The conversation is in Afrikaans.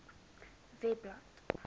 webblad